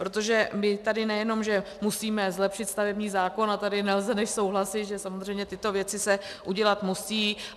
Protože my tady nejenom že musíme zlepšit stavební zákon - a tady nelze než souhlasit, že samozřejmě tyto věci se udělat musí.